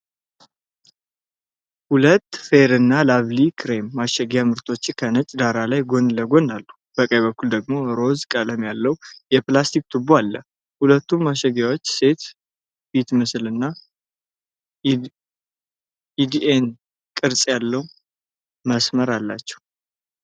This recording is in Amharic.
ሁለት የ"ፌር እና ላቭሊይ" ክሬም ማሸጊያ ምርቶች ከነጭ ዳራ ላይ ጎን ለጎን አሉ። በቀኝ በኩል ደግሞ ሮዝ ቀለም ያለው የፕላስቲክ ቱቦ አለ። ሁለቱም ማሸጊያዎች ሴት ፊት ምስልና የዲኤንኤ ቅርጽ ያለው መስመር አላቸው።